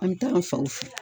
An bɛ taa an faw fɛ.